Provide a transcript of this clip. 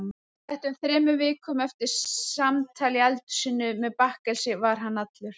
Sléttum þremur vikum eftir samtal í eldhúsinu með bakkelsi var hann allur.